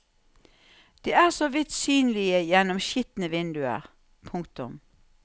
De er så vidt synlige gjennom skitne vinduer. punktum